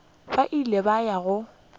ba ile ba ya go